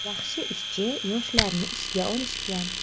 Yaxshi ishchi yoshlarni ishga olishgan.